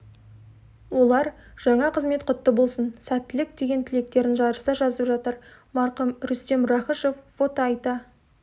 олар жаңа қызмет құтты болсын сәттілік деген тілектерін жарыса жазып жатыр марқұм рүстем рахышев фото айта